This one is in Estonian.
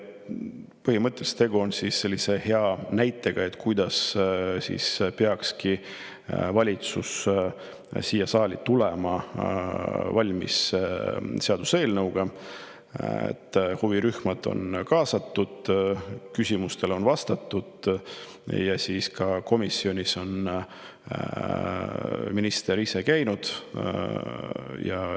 Põhimõtteliselt on tegu hea näitega, kuidas peakski valitsus seaduseelnõuga siia saali tulema: huvirühmad on kaasatud, küsimustele on vastatud ja komisjonis on ka minister ise käinud.